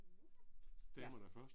Damerne først